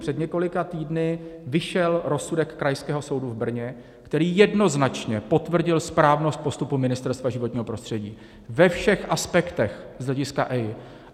Před několika týdny vyšel rozsudek Krajského soudu v Brně, který jednoznačně potvrdil správnost postupu Ministerstva životního prostředí ve všech aspektech z hlediska EIA.